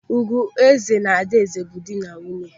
Ugueze na Adaeze bụ nwunye dị.